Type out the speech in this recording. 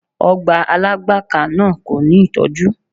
Ọgbà Alágbàká náà kò ní ìtọ́jú.